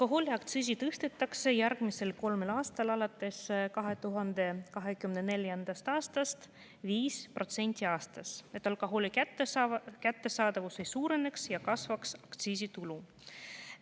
Alkoholiaktsiisi tõstetakse järgmisel kolmel aastal, alates 2024. aastast 5% aastas, et alkoholi kättesaadavus ei suureneks ja kasvaks aktsiisitulu.